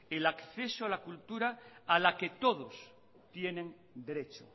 el acceso a la cultura a la que todos tienen derecho